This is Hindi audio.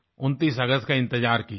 29 अगस्त का इंतजार कीजिये